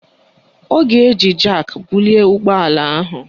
Ọ ga-eji jak bulie ụgbọala ahụ